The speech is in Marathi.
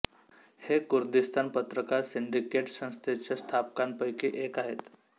हे कुर्दिस्तान पत्रकार सिंडिकेट संस्थेच्या स्थापकांपैकी एक आहेत